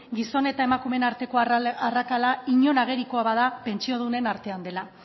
gizon eta emakumeen arteko arrakala inon agerikoa bada pentsiodunen artean dela